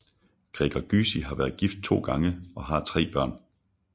Gregor Gysi har været gift to gange og har tre børn